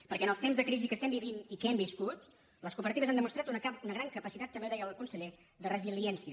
perquè en els temps de crisi que estem vivint i que hem viscut les cooperatives han demostrat una gran capacitat també ho deia el conseller de resiliència